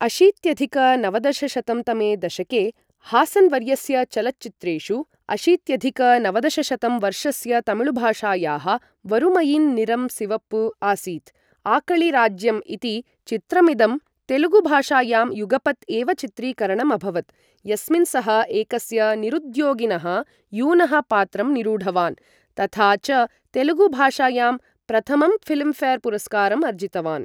अशीत्यधिक नवदशशतं तमे दशके हासन् वर्यस्य चलच्चित्रेषु, अशीत्यधिक नवदशशतं वर्षस्य तमिळुभाषायाः वरुमैयिन् निरम् सिवप्पु आसीत्, आकळि राज्यम् इति चित्रमिदं तेलुगुभाषायां युगपत् एव चित्रीकरणम् अभवत्, यस्मिन् सः एकस्य निरुद्योगिनः यूनः पात्रं निरूढवान् तथा च तेलुगुभाषायां प्रथमं फिल्म् फेर् पुरस्कारं अर्जितवान्।